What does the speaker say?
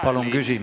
Palun küsimus!